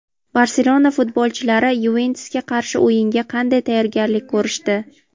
"Barselona" futbolchilari "Yuventus"ga qarshi o‘yinga qanday tayyorgarlik ko‘rishdi?.